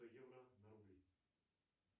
евро на рубли